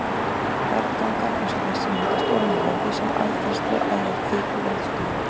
Berggangar eins og þessi myndast ofan í jörðu sem aðfærsluæðar kviku í eldstöðvum.